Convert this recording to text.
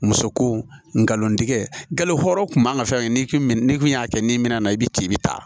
Muso ko nkalon tigɛ galo hɔrɔn kun man ka fɛn n'i kun n'i kun y'a kɛ ni minɛn na i bi ci i bɛ taa